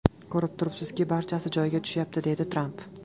Ko‘rib turibsizki, barchasi joyiga tushyapti”, deydi Tramp.